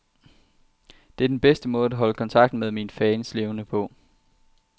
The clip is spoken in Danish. Det er den bedste måde at holde kontakten med mine fans levende på.